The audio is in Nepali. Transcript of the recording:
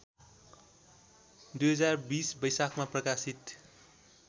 २०२० वैशाखमा प्रकाशित